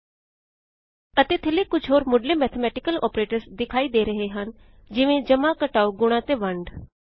ਅਤੇ ਥੱਲੇ ਕੁਝ ਹੋਰ ਮੁਢ੍ਲੇ ਮੈਥੇਮੈਟਿਕਲ ਆਪਰੇਟਰ੍ਸ ਵਿਖਾਈ ਦੇ ਰਹੇ ਹਨ ਜਿਵੇਂ ਜਮਾਂ ਘਟਾਉ ਗੁਣਾਂ ਅਤੇ ਵੰਡ